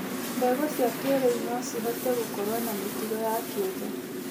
Mbegũ cia kĩrĩu no cihote gũkorwo na mĩtugo ya kĩũmbe